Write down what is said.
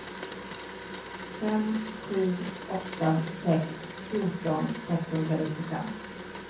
fem sju åtta sex fjorton sexhundranittiofem